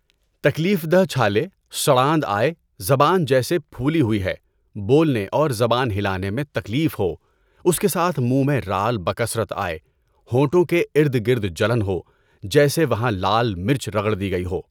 تکلیف دہ چھالے، سڑاند آئے، زبان جیسے پھولی ہوئی ہے، بولنے اور زبان ہلانے میں تکلیف ہو، اس کے ساتھ منہ میں رال بکثرت آئے، ہونٹوں کے ارد گرد جلن ہو، جیسے وہاں لال مرچ رگڑ دی گئی ہو۔